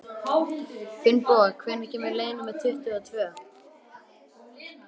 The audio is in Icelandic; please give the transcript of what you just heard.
Finnboga, hvenær kemur leið númer tuttugu og tvö?